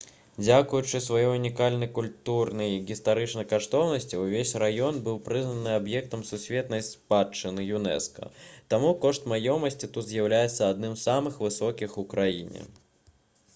дзякуючы сваёй унікальнай культурнай і гістарычнай каштоўнасці ўвесь раён быў прызнаны аб'ектам сусветнай спадчыны юнэска таму кошт маёмасці тут з'яўляецца адным з самых высокіх у краіне